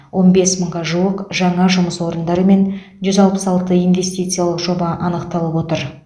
он бес мыңға жуық жаңа жұмыс орындары мен жүз алпы алты инвестициялық жоба анықталып отыр